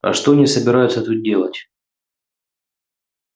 а что они собираются тут делать